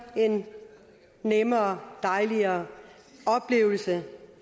en nemmere og dejligere oplevelse